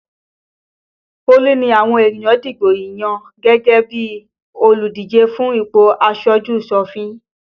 Olu ni àwọn ènìyàn dìbò yàn gẹ́gẹ́ bí olùdíje fún ipò aṣojú-sòfin